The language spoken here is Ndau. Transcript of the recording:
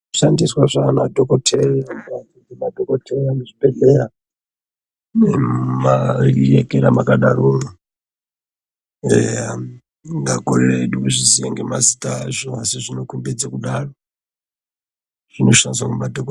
Zvinoshandiswa zvaana dhokodheya. Madhokodheya muzvibhedhleya muu maaekera mwakadaromwo eya tingakorera hedu kuzviziya ngemazita azvo asi zvinokombedze kudaro zvinoshandiswa ngemadhoko.